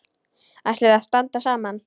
Ætlum við að standa saman?